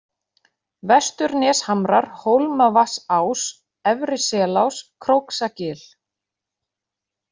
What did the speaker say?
Vesturneshamrar, Hólmavatnsás, Efri-Selás, Króksagil